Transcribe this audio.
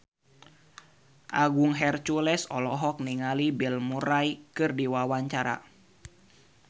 Agung Hercules olohok ningali Bill Murray keur diwawancara